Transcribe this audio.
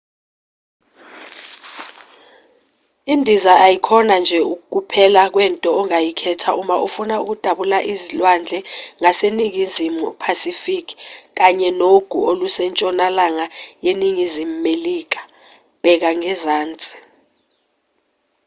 indiza ayikhona nje ukuphela kwento ongayikhetha uma ufuna ukudabula izilwandle zaseningizimu pacific kanye nogu olusentshonalanga yeningizimu melika. bheka ngezansi